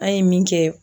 An ye min kɛ